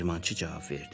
Dəyirmançı cavab verdi.